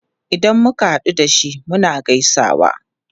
Idan muka hadu da shi, muna gaisawa.